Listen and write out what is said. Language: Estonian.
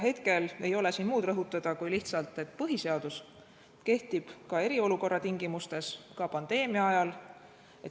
Hetkel ei ole siin rõhutada muud kui lihtsalt seda, et põhiseadus kehtib ka eriolukorra tingimustes, ka pandeemia ajal.